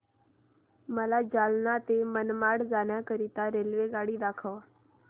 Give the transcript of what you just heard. मला जालना ते मनमाड जाण्याकरीता रेल्वेगाडी दाखवा